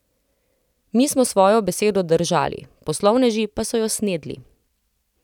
Mi smo svojo besedo držali, poslovneži pa so jo snedli.